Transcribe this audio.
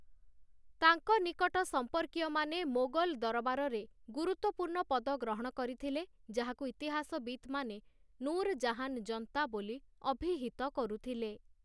ତାଙ୍କ ନିକଟ ସମ୍ପର୍କୀୟମାନେ ମୋଗଲ୍‌ ଦରବାରରେ ଗୁରୁତ୍ୱପୂର୍ଣ୍ଣ ପଦ ଗ୍ରହଣ କରିଥିଲେ, ଯାହାକୁ ଇତିହାସବିତ୍‌ମାନେ 'ନୂର୍‌ ଜାହାନ୍‌ ଜନ୍ତା' ବୋଲି ଅଭିହିତ କରୁଥିଲେ ।